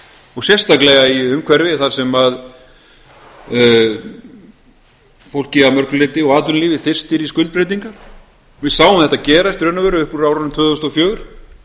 og sérstaklega í umhverfi þar sem fólkið að mörgu leyti og atvinnulífið þyrstir í skuldbreytingar við sáum þetta gerast í raun og veru upp úr árinu tvö þúsund og fjögur